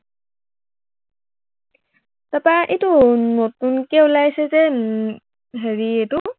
তাৰপা এইটো নতুনকে ওলাইছে যে উম হেৰি এইটো